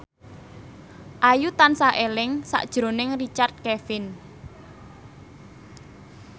Ayu tansah eling sakjroning Richard Kevin